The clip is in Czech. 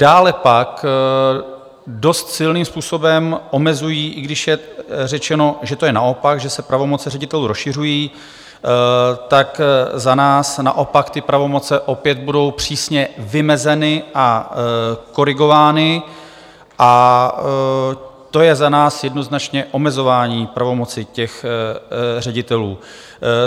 Dále pak dost silným způsobem omezují - i když je řečeno, že to je naopak, že se pravomoce ředitelů rozšiřují, tak za nás naopak ty pravomoce opět budou přísně vymezeny a korigovány a to je za nás jednoznačně omezování pravomoci těch ředitelů.